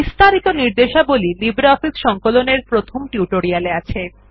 বিস্তারিত নির্দেশাবলী লিব্রিঅফিস সংকলন এর প্রথম টিউটোরিয়াল এ আছে